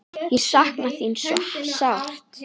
Ég sakna þín svo sárt.